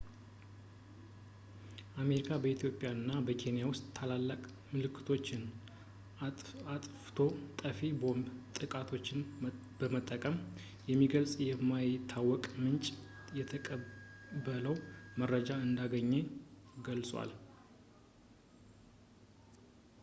አሜሪካ በኢትዮጵያ እና በኬንያ ውስጥ ታላላቅ ምልክቶችን አጥፍቶ ጠፊ የቦምብ ጥቃቶችን በመጠቀም የሚገልጽ ከማይታወቅ ምንጭ የተቀበለው መረጃ እንዳገኘ ገልጿል